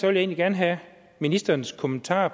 jeg egentlig gerne have ministerens kommentar